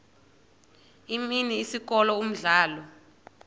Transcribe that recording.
imini isikolo umdlalo